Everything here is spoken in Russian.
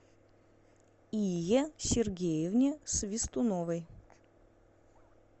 ие сергеевне свистуновой